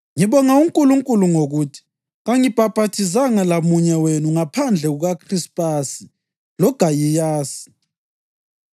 Ngibonga uNkulunkulu ngokuthi kangibhaphathizanga lamunye wenu ngaphandle kukaKhrispasi loGayiyasi,